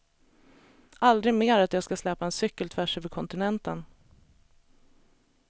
Aldrig mer att jag ska släpa en cykel tvärs över kontinenten.